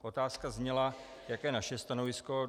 Otázka zněla, jaké je naše stanovisko.